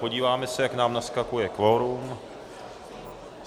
Podíváme se, jak nám naskakuje kvorum.